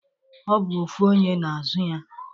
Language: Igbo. O bu ofu onye na-azụ ya.